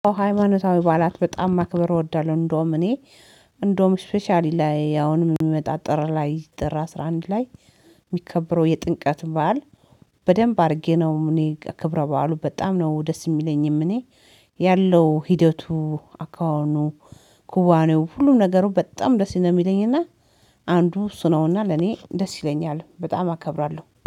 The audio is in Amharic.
ሃይማኖታዊ በዓላት በጣም ማክበር እወዳለሁ። እንደውም እኔ፣ እንደውም ስፔሻሊ ላይ አሁንም የሚመጣ ጥር ላይ ጥር አስራ አንድ ላይ የሚከብረው የጥምቀት በዓል በደንብ አድርጌ ነው እኔ ከብረ በዓሉ በጣም ነው ደስ የሚለኝም እኔ፤ ያለው ሂደቱ፣ አኳሃኑ፣ ኩዋኔው፣ ሁሉም ነገሩ በጣም ደስ ነው የሚለኝ እና አንዱ እሱ ነውና ለኔ ደስ ይለኛል፤ በጣም አከብራለሁ።